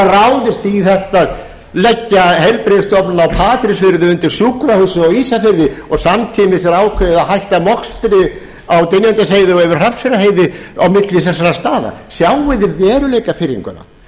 ráðist í þetta að leggja heilbrigðisstofnunina á patreksfirði undir sjúkrahúsið á ísafirði og samtímis er ákveðið að hætta mokstri á dynjandisheiði og yfir hrafnseyrarheiði á milli þessara staða sjáið þið veruleikafirringuna eða að leggja sjúkrahúsið